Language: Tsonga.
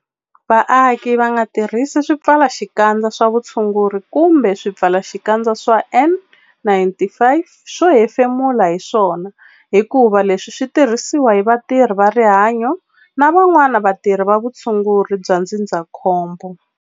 Vaaki va nga tirhisi swipfalaxikandza swa vutshunguri kumbe swipfalaxikandza swa N-95 swo hefemula hi swona hikuva leswi swi tirhisiwa hi vatirhi va rihanyo na van'wana vatirhi va vutshunguri bya ndzindzakhombo.